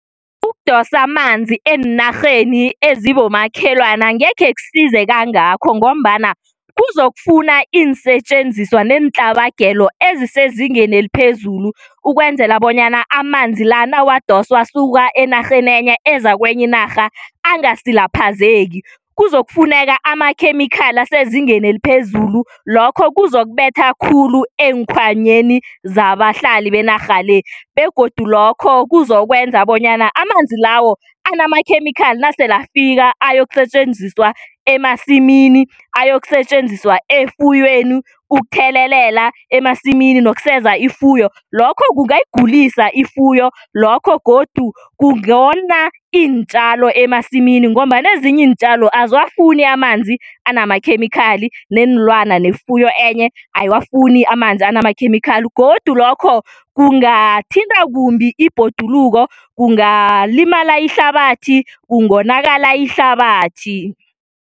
Ukudosa amanzi eenarheni ezibomakhelwana angekhe kusize kangakho ngombana kuzokufuna iinsetjenziswa neentlabagelo ezisezingeni eliphezulu ukwenzela bonyana amanzi la nawadoswa asuka enarheni enye eza kwenye inarha angasilaphazeki. Kuzokufuneka amakhemikhali asezingeni eliphezulu lokho kuzokubetha khulu eenkhwanyeni zabahlali benarha le begodu lokho kuzokwenza bonyana amanzi lawo anamakhemikhali nasele afika ayokusetjenziswa emasimini, ayokusetjenziswa efuyweni, ukuthelelela emasimini nekuseza ifuyo lokho kungayigulisa ifuyo, lokho godu kungona iintjalo emasimini ngombana ezinye iintjalo aziwafuni amanzi anamakhemikhali neenlwana nefuyo enye ayiwafuni amanzi anamakhemikhali godu lokho kungathinta kumbi ibhoduluko kungalimala ihlabathi, kungonakala ihlabathi.